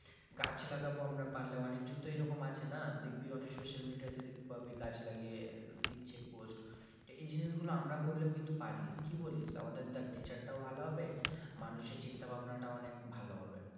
গাছ লাগাবো আমরা পারলে অনেকজন তো এরকম আছে না দেখবি অনেক social media তে দেখতে পাবি গাছ লাগিয়ে দিচ্ছে post তো এই জিনিসগুলো আমরা করলেও কিন্তু পারি কি বলিস আমাদের দেখ nature টাও ভালো হবে মানুষের চিন্তা ভাবনা টাও অনেক ভালো হবে,